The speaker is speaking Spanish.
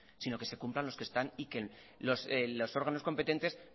sino que se cumplan los que están y que los órganos competentes